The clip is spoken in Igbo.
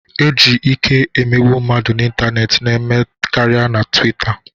Iji ike emegbu mmadụ n'ịntanetị na-eme karịa na Twita